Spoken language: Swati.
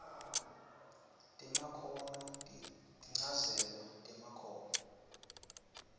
temakhono tinchazelo temakhono